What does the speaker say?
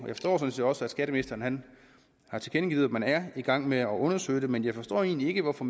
jeg forstår også at skatteministeren har tilkendegivet at man er i gang med at undersøge det men jeg forstår egentlig ikke hvorfor